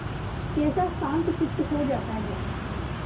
कैसा शांतचित्त हो जाता है